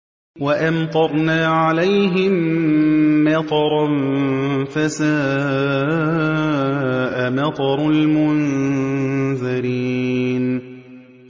وَأَمْطَرْنَا عَلَيْهِم مَّطَرًا ۖ فَسَاءَ مَطَرُ الْمُنذَرِينَ